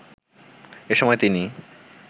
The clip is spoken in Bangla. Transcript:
এ সময় তিনি